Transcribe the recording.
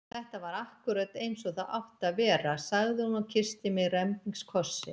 Þetta var akkúrat eins og það átti að vera! sagði hún og kyssti mig rembingskoss.